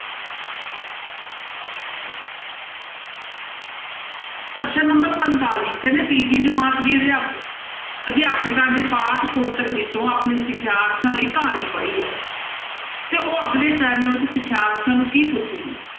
ਪ੍ਰਸ਼ਨ number ਪੰਤਾਲੀ ਕਹਿੰਦੇ ਤੀਜੀ ਜਮਾਤ ਦੀ ਅਧਿਆ~ ਅਧਿਆਪਿਕਾ ਨੇ ਪਾਠ ਪੁਸਤਕ ਵਿੱਚੋਂ ਆਪਣੇ ਸਿਖਿਆਰਥੀਆਂ ਲਈ ਕਹਾਣੀ ਪੜ੍ਹੀ ਆ ਤੇ ਉਹ ਅਗਲੇ ਸਿਖਿਆਰਥੀਆਂ ਨੂੰ ਕੀ ਪੁੱਛੇਗੀ?